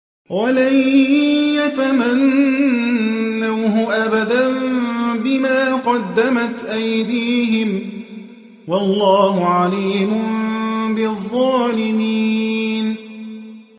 وَلَن يَتَمَنَّوْهُ أَبَدًا بِمَا قَدَّمَتْ أَيْدِيهِمْ ۗ وَاللَّهُ عَلِيمٌ بِالظَّالِمِينَ